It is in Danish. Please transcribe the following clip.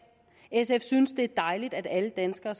sf synes det er dejligt at alle danskere